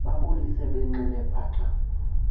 bambulise benxile paqa